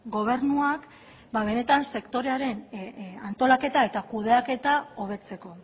gobernuak benetan sektorearen antolaketa eta kudeaketa hobetzeko